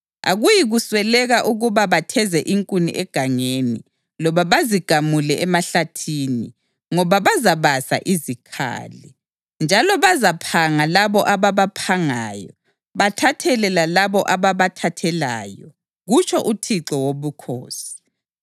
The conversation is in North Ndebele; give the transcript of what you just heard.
Akuyikusweleka ukuba batheze inkuni egangeni loba bazigamule emahlathini, ngoba bazabasa izikhali. Njalo bazaphanga labo ababaphangayo bathathele lalabo ababathathelayo, kutsho uThixo Wobukhosi.